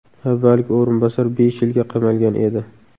Avvalgi o‘rinbosar besh yilga qamalgan edi.